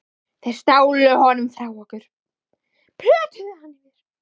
Þeir stálu honum frá okkur, plötuðu hann yfir.